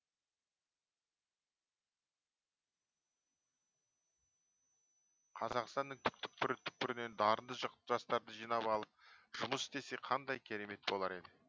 қазақстаның түкпір түкпірінен дарынды жастарды жинап алып жұмыс істесе қандай керемет болар еді